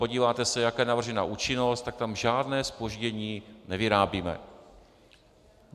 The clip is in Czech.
Podíváte se, jaká je navržena účinnost, tak tam žádné zpoždění nevyrábíme.